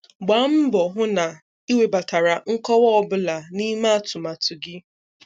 Gbaa mbọ hụ na ị webatara nkọwa ọ bụla n'ime atụmatụ gị.